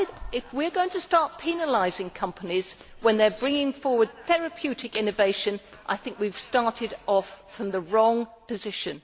If we are going to start penalising companies when they are bringing forward therapeutic innovation, I think we have started off from the wrong position.